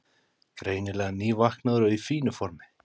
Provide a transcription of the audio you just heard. Greinilega nývaknaður og í fínu formi.